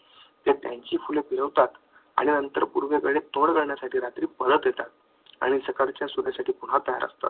हे त्यांचे फुले आणि अंतर पूर्वेकडे थोडं जाण्यासाठी रात्री परत येतात आणि सकाळच्या सूर्यासाठी पुन्हा तयार असतात.